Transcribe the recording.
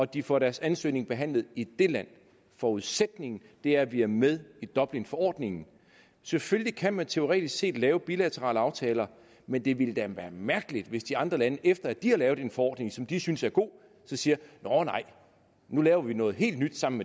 de får deres ansøgning behandlet i det land forudsætningen er at vi er med i dublinforordningen selvfølgelig kan man teoretisk set lave bilaterale aftaler men det ville da være mærkeligt hvis de andre lande efter at de har lavet en forordning som de synes er god så siger nåh nej nu laver vi noget helt nyt sammen